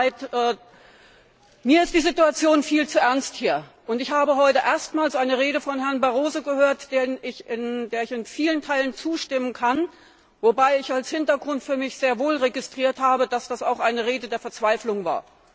Es tut mir leid, mir ist diese Situation viel zu ernst, und ich habe heute erstmals eine Rede von Herrn Barroso gehört, der ich in vielen Teilen zustimmen kann, wobei ich als Hintergrund sehr wohl registriert habe, dass das auch eine Rede der Verzweiflung war.